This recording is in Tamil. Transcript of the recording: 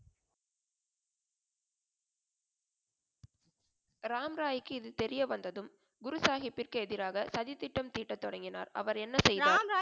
ராம் ராய் க்கு இது தெரிய வந்ததும் குரு சாகிப் பிற்கு எதிராக சதி திட்டம் தீட்ட தொடங்கினார் அவர் என்ன செய்தார்? ராம் ராய்